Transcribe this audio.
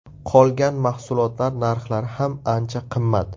Qolgan mahsulotlar narxlari ham ancha qimmat.